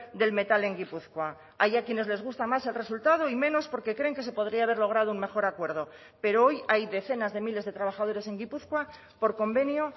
del metal en gipuzkoa hay a quienes les gusta más el resultado y menos porque creen que se podría haber logrado un mejor acuerdo pero hoy hay decenas de miles de trabajadores en gipuzkoa por convenio